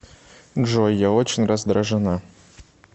джой я очень раздражена